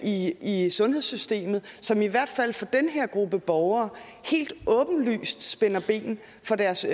i i sundhedssystemet som i hvert fald for den her gruppe borgere helt åbenlyst spænder ben for deres